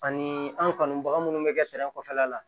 Ani an kanubaga minnu bɛ kɛ kɔfɛla la